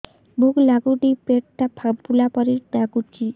ଭୁକ ଲାଗୁନି ପେଟ ଟା ଫାମ୍ପିଲା ପରି ନାଗୁଚି